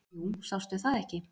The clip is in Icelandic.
"""Jú, sástu það ekki."""